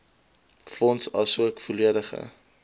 fonds asook volledige